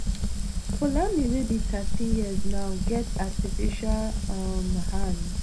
poulami wey be thirteen years now get artificial um hand